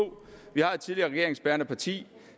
vi har et tidligere regeringsbærende parti